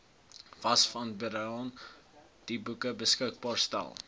visvangsbestuurshandboeke beskikbaar stel